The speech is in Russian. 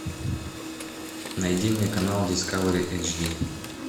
найди мне канал дискавери эйчди